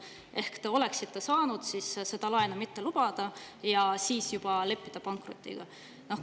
Ehk te oleksite saanud laenu mitte lubada ja juba siis leppida pankrotiga.